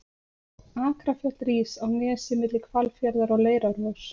Akrafjall rís á nesi milli Hvalfjarðar og Leirárvogs.